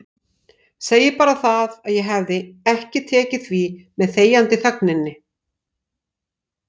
Segi bara það að ég hefði ekki tekið því með þegjandi þögninni.